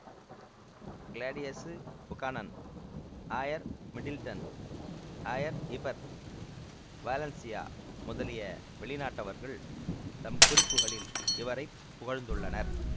Claudius Buchanan ஆயர் Middleton ஆயர் Heber Valentia முதலிய வெளிநாட்டவர்கள் தம் குறிப்புகளில் இவரை புகழ்ந்துள்ளனர்